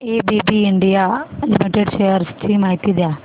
ABB India limited shares ची माहिती द्या